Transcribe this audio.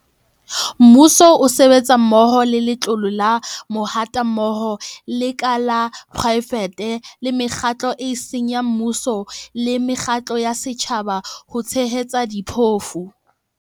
Mmuso o sebetsa mmoho le Letlole la Mahatammoho, lekala la poraefete le mekgatlo eo e seng ya mmuso le mekgatlo ya setjhaba ho tshehetsa diphofu.